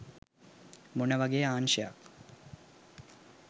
මොන වගේ අංශයක්